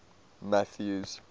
mathews